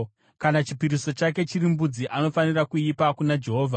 “ ‘Kana chipiriso chake chiri mbudzi, anofanira kuipa kuna Jehovha.